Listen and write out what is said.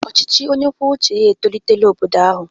Ọchịchị onye kwuo uche ya etolitela obodo ahụ.